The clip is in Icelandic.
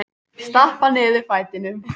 Stappa niður fætinum.